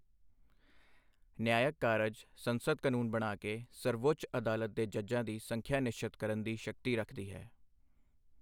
ਨਿਆਇਕ ਕਾਰਜ ਸੰਸਦ ਕਾਨੂੰਨ ਬਣਾ ਕੇ ਸਰਵਉੱਚ ਅਦਾਲਤ ਦੇ ਜੱਜਾਂ ਦੀ ਸੰਖਿਆ ਨਿਸ਼ਚਤ ਕਰਨ ਦੀ ਸ਼ਕਤੀ ਰੱਖਦੀ ਹੈ।